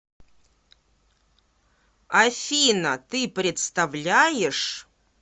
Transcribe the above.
афина ты представляешь